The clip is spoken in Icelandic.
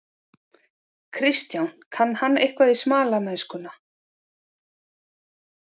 Kristján: Kann hann eitthvað á smalamennskuna?